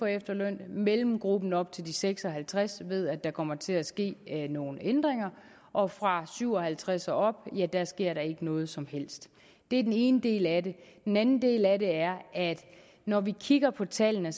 efterløn mellemgruppen op til de seks og halvtreds år ved at der kommer til at ske nogle ændringer og fra syv og halvtreds år og op ja der sker der ikke noget som helst det er den ene del af det den anden del af det er at når vi kigger på tallene